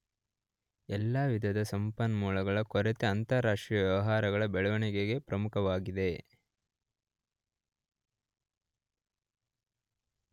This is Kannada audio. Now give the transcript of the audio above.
ಎಲ್ಲಾ ವಿಧದ ಸಂಪನ್ಮೂಲಗಳ ಕೊರತೆ ಅಂತರಾಷ್ಟ್ರೀಯ ವ್ಯವಹಾರಗಳ ಬೆಳವಣಿಗೆಗೆ ಪ್ರಮುಖವಾಗಿದೆ.